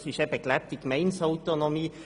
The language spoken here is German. Das ist eben gelebte Gemeindeautonomie.